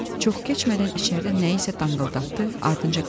Çox keçmədən içəridə nəyisə danqıldatdı, ardınca qışqırdı.